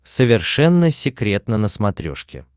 совершенно секретно на смотрешке